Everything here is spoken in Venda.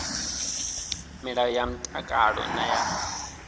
milayo ya mtakalo na ya